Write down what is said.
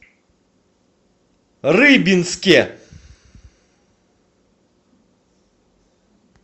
рыбинске